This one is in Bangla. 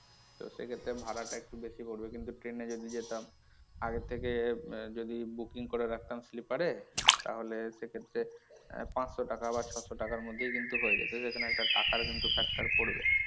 তো সেক্ষেত্রে ভাড়া টা একটু বেশি পড়বে কিন্তু train এ যদি যেতাম আগের থেকে যদি booking করে রাখতাম sleeper এ তাহলে সেক্ষেত্রে পাঁচশো টাকা বা ছয়শো টাকার মধ্যেই কিন্তু হয়ে যেত সেখানে টাকার কিন্তু একটা factor পড়বে।